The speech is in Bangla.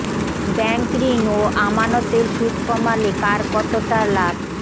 ব্যাংক ঋণ ও আমানতের সুদ কমালে কার কতটা লাভ